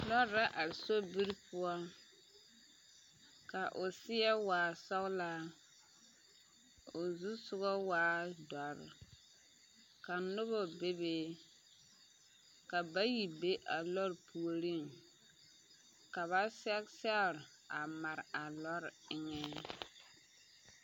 Lɔɔre la are sobiri poɔ ka o seɛ waa sɔlaa, ka o zusɔga waa doɔre ka noba bebe ka bayi be a lɔɔre puoriŋ ka ba sɛge sɛre a mare a lɔɔre eŋɛ.